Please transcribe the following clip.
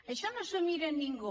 això no s’ho mira ningú